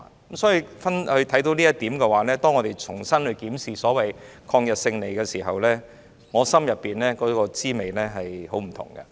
正是由於這一點，所以在我們重新檢視抗日勝利時，我內心實在有百般滋味。